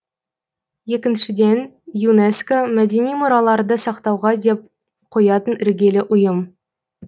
екіншіден юнеско мәдени мұраларды сақтауға деп қоятын іргелі ұйым